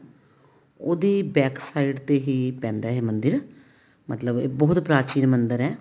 ਉਹਦੀ backside ਤੇ ਹੀ ਪੈਂਦਾ ਇਹ ਮੰਦਿਰ ਮਤਲਬ ਇਹ ਬਹੁਤ ਪ੍ਰਾਚੀਨ ਮੰਦਿਰ ਹੈ